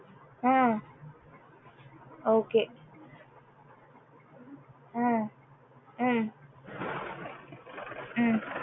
ah okay ah ah um